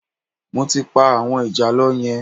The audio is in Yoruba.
Mo ti pa àwọn ìjàlọ yẹn